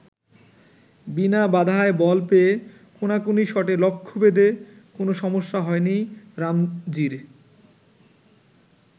বিনা বাধায় বল পেয়ে কোনাকুনি শটে লক্ষ্যভেদে কোনো সমস্যা হয়নি রামজির।